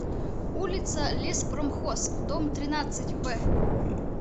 улица леспромхоз дом тринадцать в